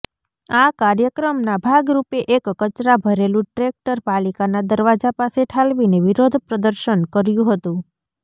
આ કાર્યક્રમના ભાગરૂપે એક કચરા ભરેલું ટ્રેકટર પાલિકાના દરવાજા પાસે ઠાલવીને વિરોધ પ્રદર્શન કર્યું હતું